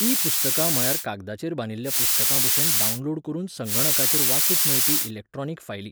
E पुस्तकां म्हळ्यार कागदाचेर बांदिल्ल्या पुस्तकांभशेन डावनलोड करून संगणकाचेर वाचूंक मेळपी इलॅक्ट्रॉनिक फायली.